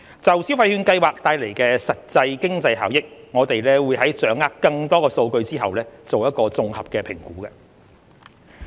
就消費券計劃帶來的實際經濟效益，我們會在掌握更多數據後作綜合評估。